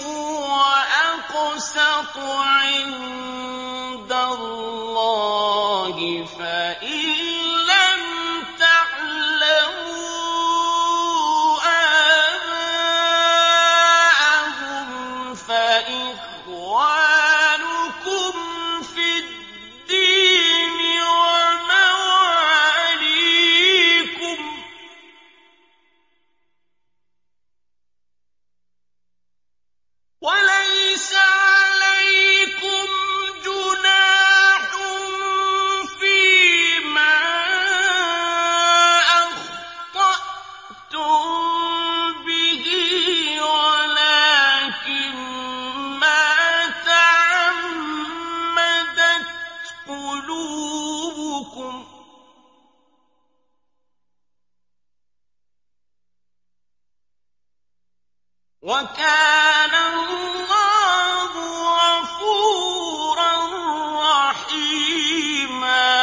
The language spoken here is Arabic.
هُوَ أَقْسَطُ عِندَ اللَّهِ ۚ فَإِن لَّمْ تَعْلَمُوا آبَاءَهُمْ فَإِخْوَانُكُمْ فِي الدِّينِ وَمَوَالِيكُمْ ۚ وَلَيْسَ عَلَيْكُمْ جُنَاحٌ فِيمَا أَخْطَأْتُم بِهِ وَلَٰكِن مَّا تَعَمَّدَتْ قُلُوبُكُمْ ۚ وَكَانَ اللَّهُ غَفُورًا رَّحِيمًا